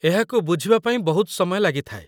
ଏହାକୁ ବୁଝିବା ପାଇଁ ବହୁତ ସମୟ ଲାଗିଥାଏ।